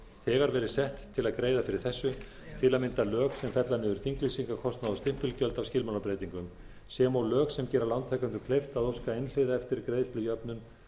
þegar verið sett til að greiða fyrir þessu tam lög sem fella niður þinglýsingarkostnað og stimpilgjöld af skilmálabreytingum sem og lög sem gera lántakendum kleift að óska einhliða eftir greiðslujöfnun